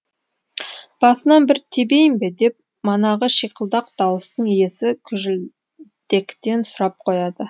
басынан бір тебейін бе деп манағы шиқылдақ дауыстың иесі күжілдектен сұрап қояды